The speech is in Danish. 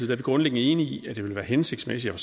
vi grundlæggende enige i at det vil være hensigtsmæssigt at